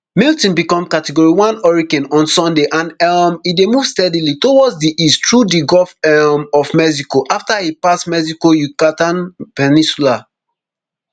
milton become categoryone hurricane on sunday and um e dey move steadily towards di east through di gulf um of mexico afta e pass mexico yucatan peninsula